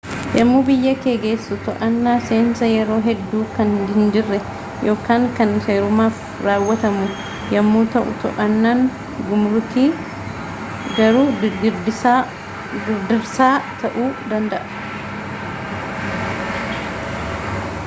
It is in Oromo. yemmuu biyya kee geessu to'annaan seensaa yeroo hedduu kan hinjirre yookaan kan seerumaaf raawwatamu yemmuu ta'u to'annaan gumrukii garuu girdirsaa ta'uu danda'a